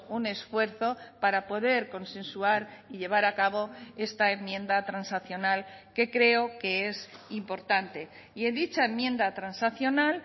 un esfuerzo para poder consensuar y llevar a cabo esta enmienda transaccional que creo que es importante y en dicha enmienda transaccional